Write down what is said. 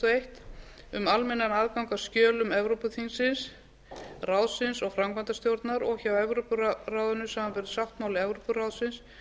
eitt um almennan aðgang að skjölum evrópuþingsins evrópuráðsins og framkvæmdastjórnar og hjá evrópuráðinu samanber sáttmáli evrópuráðsins